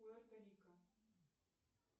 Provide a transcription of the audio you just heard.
пуэрто рико